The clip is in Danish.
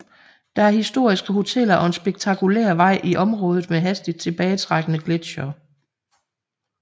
Der er historiske hoteller og en spektakulær vej i området med hastigt tilbagetrækkende gletsjere